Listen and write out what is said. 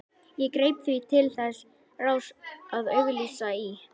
Ég greip því til þess ráðs að auglýsa í